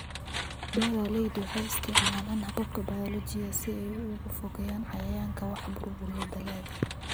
Beeraleydu waxay isticmaalaan hababka bayoolojiga si ay uga fogeeyaan cayayaanka wax burburiya dalagga.